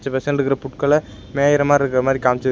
புட்கல மேயிற மாரி இருக்குற மாரி காம்ச்சி--